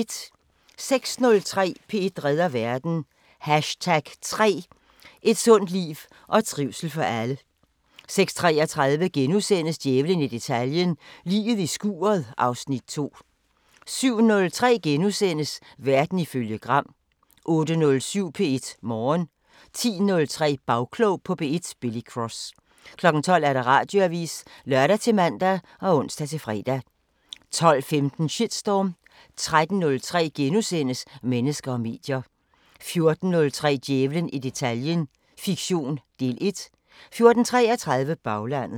06:03: P1 redder verden: #3 Et sundt liv og trivsel for alle 06:33: Djævlen i detaljen – Liget i skuret (Afs. 2)* 07:03: Verden ifølge Gram * 08:07: P1 Morgen 10:03: Bagklog på P1: Billy Cross 12:00: Radioavisen (lør-man og ons-fre) 12:15: Shitstorm 13:03: Mennesker og medier * 14:03: Djævlen i detaljen – fiktion, del 1 14:33: Baglandet